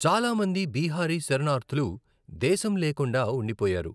చాలా మంది బీహారీ శరణార్థులు దేశం లేకుండా ఉండిపోయారు.